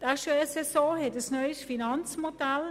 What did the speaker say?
Die HES-SO hat ein neues Finanzmodell.